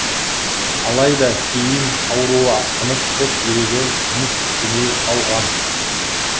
алайда кейін ауруы асқынып қос бүйрегі жұмыс істемей қалған